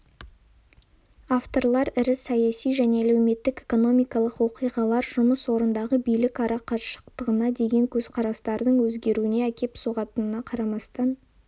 авторлар ірі саяси және әлеуметтік-экономикалық оқиғалар жұмыс орнындағы билік арақашықтығына деген көзқарастардың өзгеруіне әкеп соғатынына қарамастан